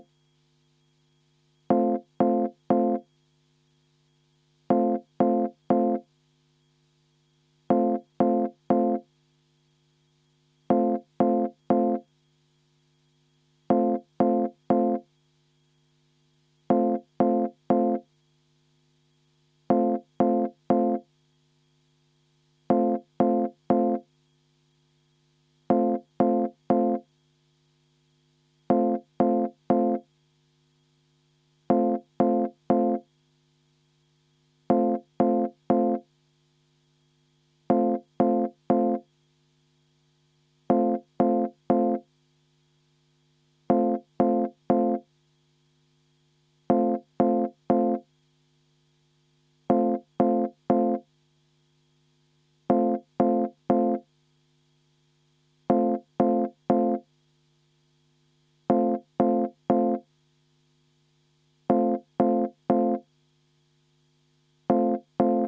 Juhtivkomisjoni ettepanek on viia läbi eelnõu 462 lõpphääletus.